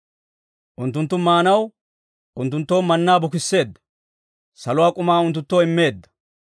Unttunttu maanaw, unttunttoo mannaa bukisseedda; saluwaa k'umaa unttunttoo immeedda.